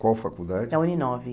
Qual faculdade? Na Uninove